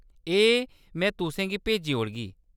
एह् में तुसेंगी भेजी ओड़गी।